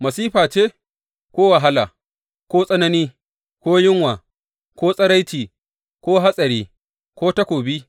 Masifa ce ko wahala ko tsanani ko yunwa ko tsiraici ko hatsari ko takobi?